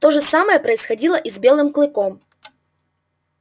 то же самое происходило и с белым клыком